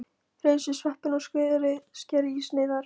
Hreinsið sveppina og skerið í sneiðar.